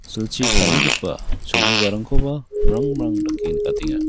silchi tarigipa cholgugarangkoba mrang mrang dake nikatenga.